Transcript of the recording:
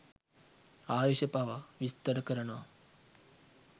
ආයුෂ පවා විස්තර කරනවා.